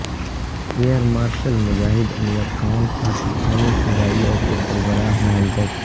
air marshal Mujahid Anwar Khan پاکستانی فضائیہ کے سربراہ نامزد